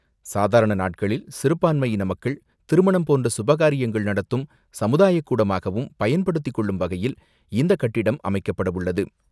சாதாரணநாட்களில் சிறுபான்மையினமக்கள் திருமணம் போன்ற சுபகாரியம் நடத்தும் சமுதாயக்கூடமாகவும் பயன்படுத்திக்கொள்ளும் வகையில் இந்தகட்டிடம் அமைக்கப்படவுள்ளது.